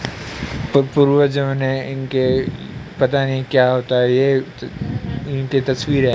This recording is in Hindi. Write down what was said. और पूर्वजों ने इनके पता नहीं क्या होता है ये इनके तस्वीर है।